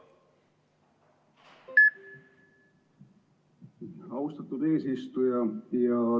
Aitäh, austatud eesistuja!